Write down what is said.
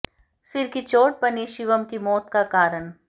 सिर की चोट बनी शिवम की मौत का कारण